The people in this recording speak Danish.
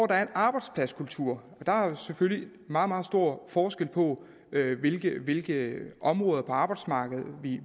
der er en arbejdspladskultur der er selvfølgelig meget meget stor forskel på hvilke hvilke områder på arbejdsmarkedet